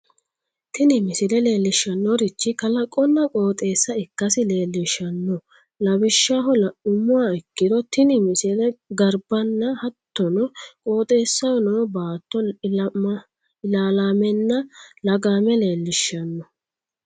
tini misile leellishshannorichi kalaqonna qooxeessa ikkasi leellishshanno lawishshaho la'nummoha ikkiro tini misile garbanna hattono qooxeessaho noo baatto ilaallaamenna lagaame leellishshanno.